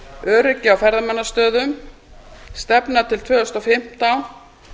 öryggi á ferðamannastöðum stefna til tvö þúsund og fimmtán